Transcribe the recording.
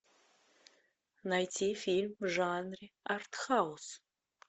найти фильм в жанре артхаус